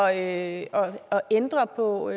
at ændre på